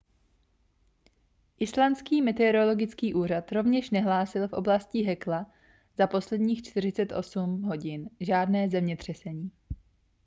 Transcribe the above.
islandský meteorologický úřad rovněž nehlásil v oblasti hekla za posledních 48 hodin žádné zemětřesení